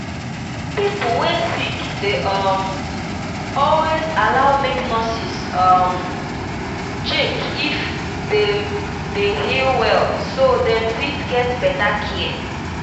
dem dey tell you um make you believe the nurse wey dem give you make you fit um get better care